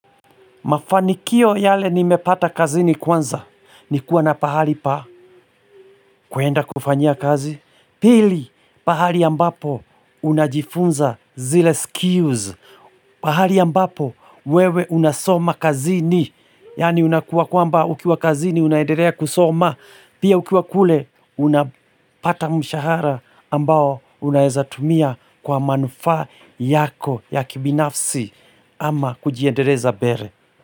Mafanikio yale nimepata kazini kwanza ni kuwa na pahali pa kuenda kufanyia kazi. Pili, pahali ambapo unajifunza zile skills. Pahali ambapo wewe unasoma kazini. Yaani unakuwa kwamba ukiwa kazini unaendelea kusoma. Pia ukiwa kule unapata mshahara ambao unaezatumia kwa manufaa yako ya kibinafsi ama kujiendeleza mbele.